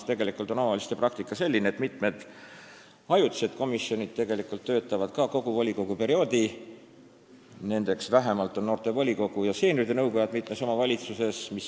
Tegelikult on omavalitsuste praktika selline, et mitmed ajutised komisjonid töötavad ka kogu volikoguperioodi, nendeks on vähemalt noorte volikogud ja seenioride nõukojad mitmes omavalitsuses.